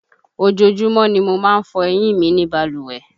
Ojoojúmọ́ ni mo má ń fọ eyín mi ní balùwẹ̀